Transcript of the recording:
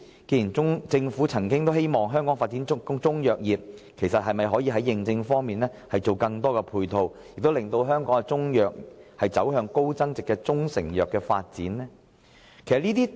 既然政府曾表示有意發展香港的中藥業，則可否在認證方面作出配合，並為中藥提供高增值物流服務？